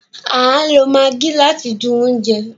A lo Maggie láti dùn oúnjẹ